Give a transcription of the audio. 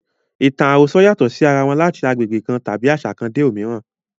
Ìtàn àròsọ yàtọ̀ sí ara wọn láti agbègbè kan tàbí àṣà kan dé òmíràn.